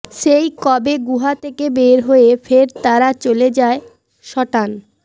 সেই কবে গুহা থেকে বের হয়ে ফের তারা চলে যায় সটান